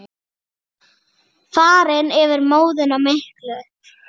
Farinn yfir móðuna miklu.